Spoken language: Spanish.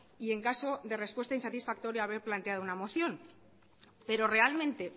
y en caso de respuesta insatisfactoria haber planteado una moción pero realmente